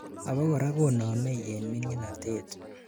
abakora konamei en minginatet